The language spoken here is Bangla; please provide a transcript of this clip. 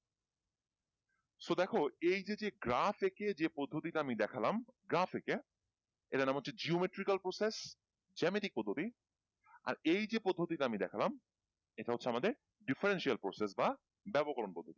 so দেখো এইযে যে গ্রাফ একিয়ে যে পদ্ধতিটা আমি দেখলাম গ্রাফ একে এটার নাম হচ্ছে geometrical process জেমেটিক পদ্ধতি আর এই যে পদ্ধতিটা আমি দেখলাম এটা হচ্ছে আমাদের differential process বা বেবকরণ পদ্ধতি